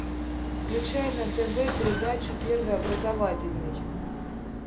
включай на тв передачу первый образовательный